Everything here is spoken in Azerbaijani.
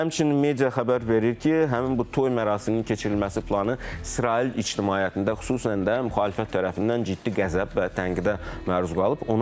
Həmçinin media xəbər verir ki, həmin bu toy mərasiminin keçirilməsi planı İsrail ictimaiyyətində, xüsusən də müxalifət tərəfindən ciddi qəzəb və tənqidə məruz qalıb.